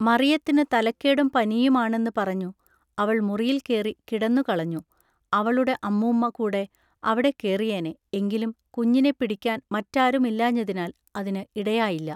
മറിയത്തിനു തലക്കേടും പനിയുമാണെന്നു പറഞ്ഞു അവൾ മുറിയിൽ കേറി കിടന്നുകളകഞു അവളുടെ അമ്മുമ്മ കൂടെ അവിടെ കേറിയേനെ എങ്കിലും കുഞ്ഞിനെ പിടിക്കാൻ മറ്റാരുമില്ലാഞ്ഞതിനാൽ അതിനു ഇടയായില്ല.